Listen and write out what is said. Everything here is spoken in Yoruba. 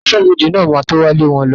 Aṣọ́bọdè náà ma tó wá lé wọn lọ